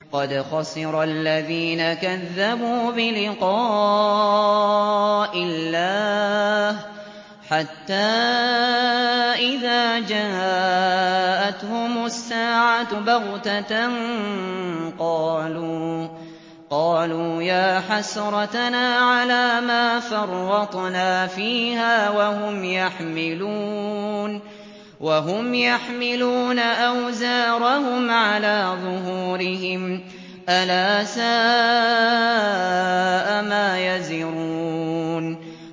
قَدْ خَسِرَ الَّذِينَ كَذَّبُوا بِلِقَاءِ اللَّهِ ۖ حَتَّىٰ إِذَا جَاءَتْهُمُ السَّاعَةُ بَغْتَةً قَالُوا يَا حَسْرَتَنَا عَلَىٰ مَا فَرَّطْنَا فِيهَا وَهُمْ يَحْمِلُونَ أَوْزَارَهُمْ عَلَىٰ ظُهُورِهِمْ ۚ أَلَا سَاءَ مَا يَزِرُونَ